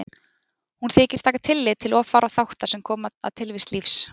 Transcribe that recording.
Hún þykir taka tillit til of fárra þátta sem koma að tilvist lífs.